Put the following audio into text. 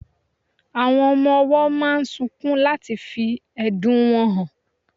Awón ọmọ owó máà ń sunkún láti fí ẹ̀dùn wọn hàn